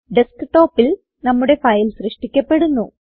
desktopൽ നമ്മുടെ ഫയൽ സൃഷ്ടിക്കപ്പെടുന്നു